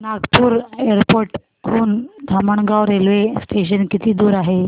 Nagpur airport हून Dhamangaon railway station किती दूर आहे